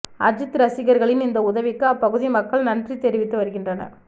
அஜித் ரசிகர்களின் இந்த உதவிக்கு அப்பகுதி மக்கள் நன்றி தெரிவித்து வருகின்றனர்